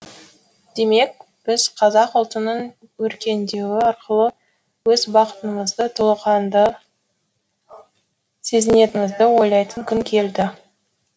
демек біз қазақ ұлтының өркендеуі арқылы өз бақытымызды толыққанды сезінетінімізді ойлайтын күн келді